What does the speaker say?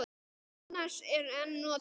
Annars er en notað.